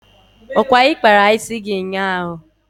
Ọkwa ị kpara isi gị ụnyaahụ?